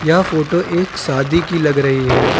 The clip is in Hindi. यह फोटो एक शादी की लग रही है।